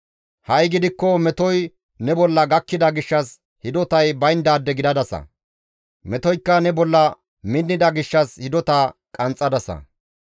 Ha7i gidikko metoy ne bolla gakkida gishshas hidotay bayndaade gidadasa; metoykka ne bolla minnida gishshas hidota qanxxadasa.